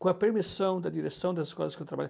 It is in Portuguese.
com a permissão da direção das escolas que eu